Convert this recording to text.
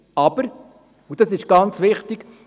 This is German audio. Aber, und das ist ganz wichtig: